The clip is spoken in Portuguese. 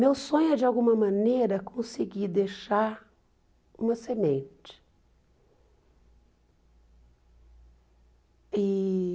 Meu sonho é, de alguma maneira, conseguir deixar uma semente. E